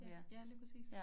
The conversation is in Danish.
Ja ja lige præcis